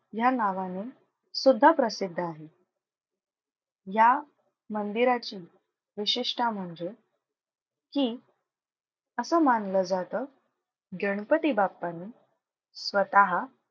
ह्या नावाने सुद्धा प्रसिद्ध आहे. या मंदिराची विशेषता म्हणजे की असं मानलं जातं गणपती बाप्पाने स्वतः,